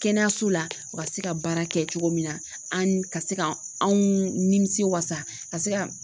Kɛnɛyaso la u ka se ka baara kɛ cogo min na an ka se ka anw nimisi wasa ka se ka